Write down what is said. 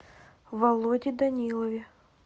володе данилове